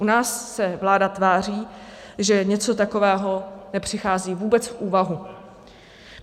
U nás se vláda tváří, že něco takového nepřichází vůbec v úvahu.